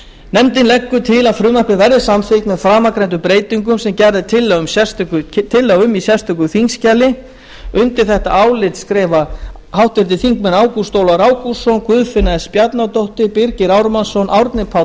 nefndin leggur til að frumvarpið verði samþykkt með framangreindum breytingum sem gerð er tillaga um í sérstöku þingskjali undir þetta álit rita háttvirtir þingmenn ágúst ólafur ágústsson guðfinna s bjarnadóttir birgir ármannsson árni páll